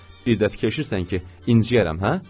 Bir də fikirləşirsən ki, inciyərəm, hə?